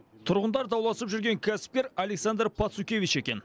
тұрғындар дауласып жүрген кәсіпкер александр пацукевич екен